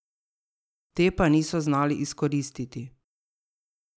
Te pa niso znali izkoristiti.